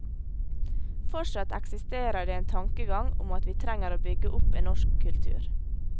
Fortsatt eksisterer det en tankegang om at vi trenger å bygge opp en norsk kultur.